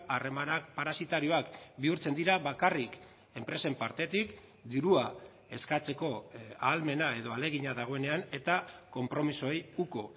harremanak parasitarioak bihurtzen dira bakarrik enpresen partetik dirua eskatzeko ahalmena edo ahalegina dagoenean eta konpromisoei uko